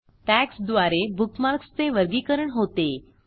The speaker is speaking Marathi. टॅग्स द्वारे बुकमार्क्स चे वर्गीकरण होते